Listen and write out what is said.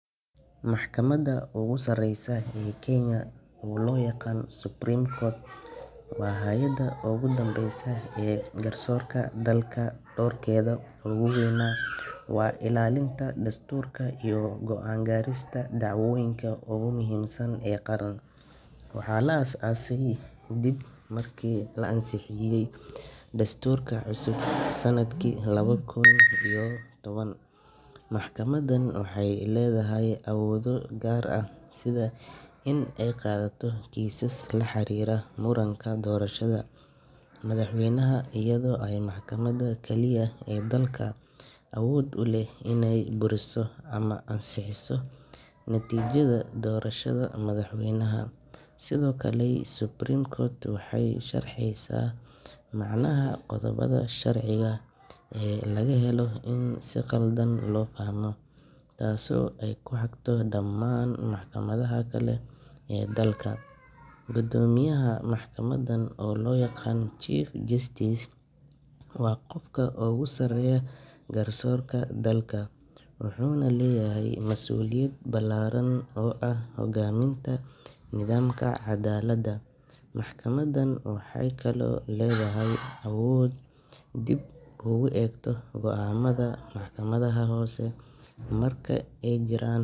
Maxkamadda ugu sareysa ee Kenya, oo loo yaqaan Supreme Court, waa hay’adda ugu dambeysa ee garsoorka dalka, doorkeeda ugu weynna waa ilaalinta dastuurka iyo go’aan ka gaarista dacwooyinka ugu muhiimsan ee qaran. Waxaa la aasaasay ka dib markii la ansixiyay dastuurka cusub sanadkii laba kun iyo toban. Maxkamaddan waxay leedahay awoodo gaar ah, sida in ay qaadato kiisas la xiriira muranka doorashada madaxweynaha, iyadoo ah maxkamadda kaliya ee dalka awood u leh inay buriso ama ansixiso natiijada doorashada madaxweynaha. Sidoo kale, Supreme Court waxay sharxeysaa macnaha qodobbada sharciga ee laga yaabo in si qaldan loo fahmo, taasoo ay ku hagto dhammaan maxkamadaha kale ee dalka. Guddoomiyaha maxkamaddan oo loo yaqaan Chief Justice, waa qofka ugu sarreeya garsoorka dalka, wuxuuna leeyahay mas’uuliyad ballaaran oo ah hogaaminta nidaamka caddaaladda. Maxkamaddan waxay kaloo leedahay awood ay dib ugu eegto go’aamada maxkamadaha hoose marka ay jiraan.